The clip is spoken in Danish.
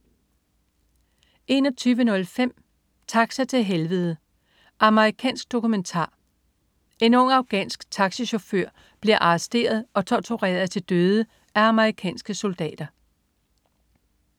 21.05 Taxa til Helvede. Amerikansk dokumentar. En ung afghansk taxichauffør bliver arresteret og tortureret til døde af amerikanske soldater